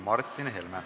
Martin Helme.